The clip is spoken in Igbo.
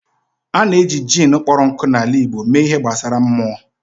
A na-eji jin kpọrọ nkụ na ala igbo mee ihe gbasara /mmụọ.